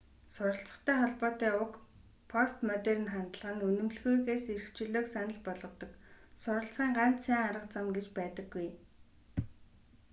суралцахтай холбоотой уг постмодерн хандлага нь үнэмлэхүйгээс эрх чөлөөг санал болгодог суралцахын ганц сайн арга зам гэж байдаггүй